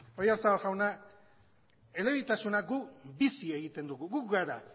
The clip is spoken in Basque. oyarzabal jauna elebitasuna guk bizi egiten dugu gu gara